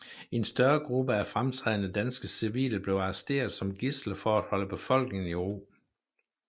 En større gruppe af fremtrædende danske civile blev arresteret som gidsler for at holde befolkningen i ro